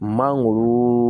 Mangoro